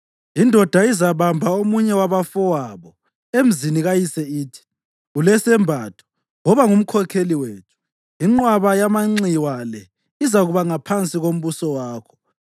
Indoda izabamba omunye wabafowabo emzini kayise ithi, “Ulesembatho, woba ngumkhokheli wethu, inqwaba yamanxiwa le izakuba ngaphansi kombuso wakho.”